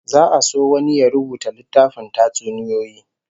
Za'a so wani ya rubuta littafin tatsuniyoyi